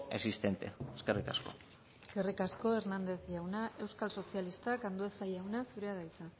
existente eskerrik asko eskerrik asko hernandez jauna euskal sozialistak andueza jauna zurea da hitza